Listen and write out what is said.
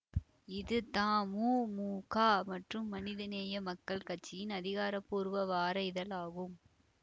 இது தமுமுக மற்றும் மனிதநேய மக்கள் கட்சியின் ஆதிகாரபூர்வ வார இதழ் ஆகும்